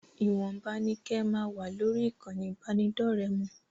Ìwọ̀nba ni kẹ́ ẹ máa wà lórí ìkànnì ìbánidọ́ọ̀rẹ́ mọ!